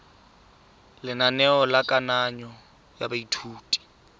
lenaneo la kananyo ya baithuti